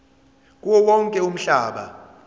kuwo wonke umhlaba